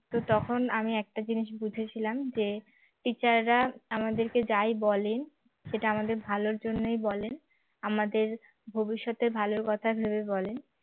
তো তখন আমি একটা জিনিস বুঝেছিলাম যে teacher রা আমাদেরকে যাই বলেন সেটা আমাদের ভালোর জন্যই বলেন আমাদের ভবিষ্যতের ভালো কথা ভেবে বলেন